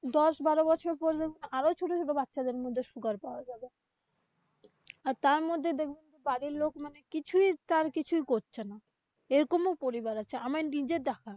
দশ-বারো বছর প্রযন্ত আরো ছোট-ছোট বাচ্ছাদের মধ্যে sugar পাওয়া যাবে। তারমধ্যে দেখবেন বাড়ীর লোক মানে কিছু তার কিছু করছে না। এরকম পরিবার আছে আমার নিজের দেখা।